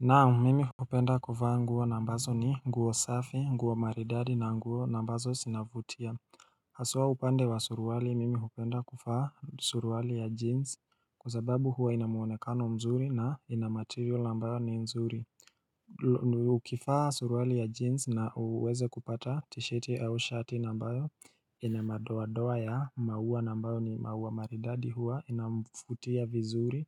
Naam mimi hupenda kufaa nguwa nambazo ni nguwa safi nguwa maridadi na nguwa nambazo sinavutia Hasua upande wa suruwali mimi hupenda kufaa suruwali ya jeans kuzababu huwa inamuonekano mzuri na inamaterial nambayo ni mzuri Ukifaa suruwali ya jeans na uweze kupata tishiti au shati nambayo inamadoa doa ya mauwa nambayo ni mauwa maridadi huwa inamfutia vizuri